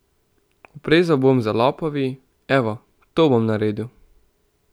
Oprezal bom za lopovi, evo, to bom naredil.